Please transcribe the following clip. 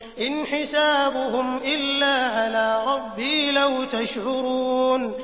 إِنْ حِسَابُهُمْ إِلَّا عَلَىٰ رَبِّي ۖ لَوْ تَشْعُرُونَ